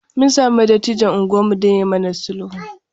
Mun sami dattijon unguwarmu don ya yi mana sulhu.